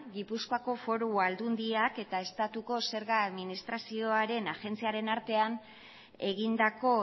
gipuzkoak foru aldundiak eta estatuko zerga administrazioaren agentziaren artean egindako